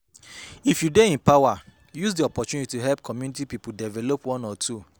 If you de in power use di opportunity help community pipo develop one or two